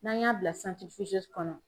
N'an y'a bila santiri fizezi kɔnɔ